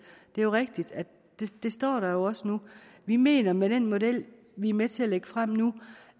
det er jo rigtigt det står der også nu vi mener med den model vi er med til at lægge frem nu